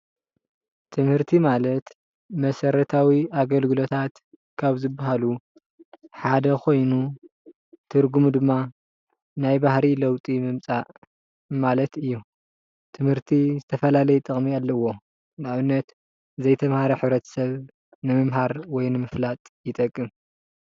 ትምህርቲ ማለት መሰረታዊ ኣገልግሎታት ካብ ዝበሃሉ ሓደ ኮይኑ ትርጉሙ ድማ ናይ ባህሪ ለውጢ ምምፃእ ማለት እዩ ። ትምህርቲ ዝተፈላለየ ጥቅሚ ኣለዎ ፡፡ ንኣብነት ዘይተማሃረ ሕብረተሰብ ንምምሃር ወይ ንምፍላጥ ይጠቅም ፡፡